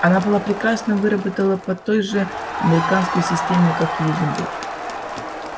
она была прекрасно выработана по той же американской системе как и изумруд